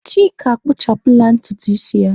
Chika akpụchapụla ntutu isi ya.